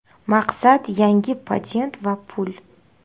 Maqsad yangi patent va pul .